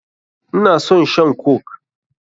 Ina son shan coke.